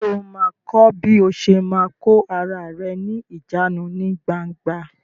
Sọ ma kọ́ bí o ṣe ma kò ara rẹ ní ìjánu ní gbangba?